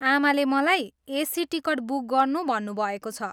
आमाले मलाई AC ticket book गर्नु भन्नुभएको छ।